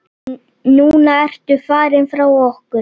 Núna ertu farinn frá okkur.